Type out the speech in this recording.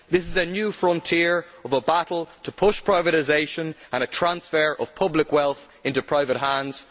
This is a new frontier in a battle to push privatisation and transfer public wealth into private hands.